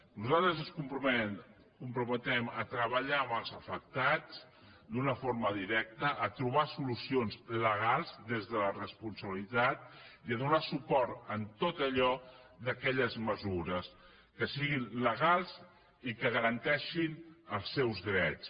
nosaltres ens comprometem a treballar amb els afectats d’una forma directa a trobar solucions legals des de la responsabilitat i a donar suport a totes aquelles mesures que siguin legals i que garanteixin els seus drets